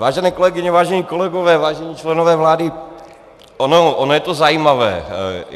Vážené kolegyně, vážení kolegové, vážení členové vlády, ono je to zajímavé.